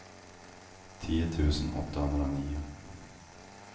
tio tusen åttahundranio